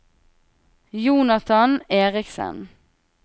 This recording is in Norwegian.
Jonathan Eriksen